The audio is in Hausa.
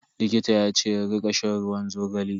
Likita yace in rika shan ruwan zogale.